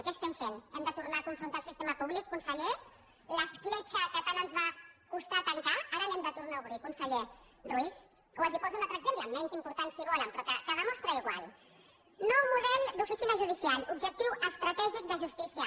què estem fent hem de tornar a confrontar el sistema públic conseller l’escletxa que tant ens va costar tancar ara l’hem de tornar a obrir conseller ruiz o els poso un altre exemple menys important si ho volen però que ho demostra igual nou model d’oficina judicial objectiu estratègic de justícia